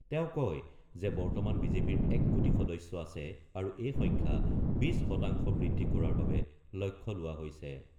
তেওঁ কয় যে বৰ্তমান বিজেপিৰ ১ কোটি সদস্য আছে আৰু এই সংখ্যা ২০ শতাংশ বৃদ্ধি কৰাৰ বাবে লক্ষ্য লোৱা হৈছে।